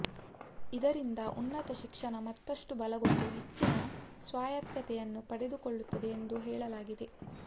ಇದರಿಂದ ಉನ್ನತ ಶಿಕ್ಷಣ ಮತ್ತಷ್ಟು ಬಲಗೊಂಡು ಹೆಚ್ಚಿನ ಸ್ವಾಯತ್ತತೆಯನ್ನು ಪಡೆದುಕೊಳ್ಳುತ್ತದೆ ಎಂದು ಹೇಳಲಾಗಿದೆ